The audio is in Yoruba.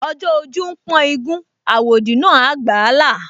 Ọjọ́ ojú ń pọ́n igún, àwòdì náà gbà á là